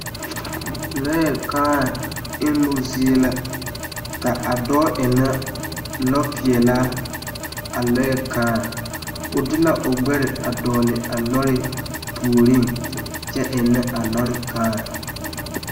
Lɔɛ kãã emmo zie la ka a dɔɔ ennɛ lɔpeɛnaa a lɔɛ kãã o de la o ɡbɛre a dɔɡle a lɔre puoriŋ kyɛ ennɛ a lɔre kãã